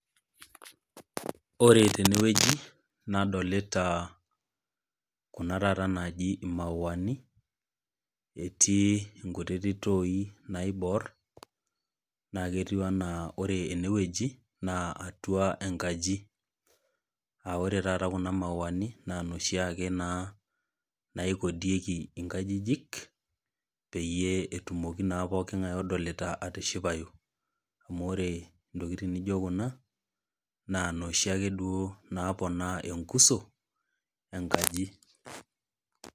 Ore tene wueji nadolita kuna taata naaji imauani, etii taata i kutitik toi naiboor, naa ketiu anaa ore ene wueji, naa atua enkaji, naa ore taata kuna mauani, naa inoshiake naa naikodieki inkajijik, peyie etumoki naake pooking'ai odolita inaaji atishipayu. Amu ore intokitin naijo kuna, naa inooshi naake napoonaa enkuso, enkaji.